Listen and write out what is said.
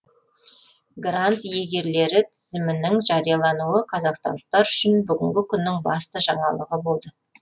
грант иегерлері тізімінің жариялануы қазақстандықтар үшін бүгінгі күннің басты жаңалығы болды